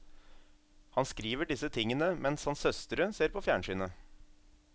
Han skriver disse tingene mens hans søstre ser på fjernsynet.